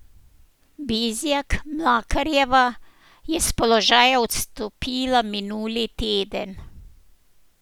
Bizjak Mlakarjeva je s položaja odstopila minuli teden.